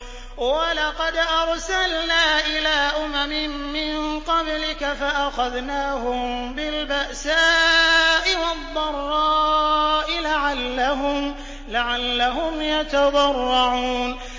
وَلَقَدْ أَرْسَلْنَا إِلَىٰ أُمَمٍ مِّن قَبْلِكَ فَأَخَذْنَاهُم بِالْبَأْسَاءِ وَالضَّرَّاءِ لَعَلَّهُمْ يَتَضَرَّعُونَ